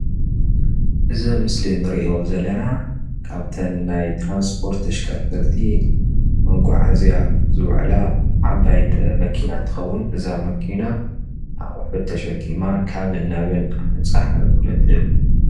እዚ ኣብ ምስሊ እንሪኦ ዘለና ካብ እተን ናይ ትራንስፖት ተሽከርከርቲ መጓዓዝያ ዝውዕላ ዓባይ መኪና እንትትከውን እዛ መኪና ኣቑሑት ተሸኪማ ካብን ናብን ንምብፃሕ ኣገልግሎት እትህብ፡፡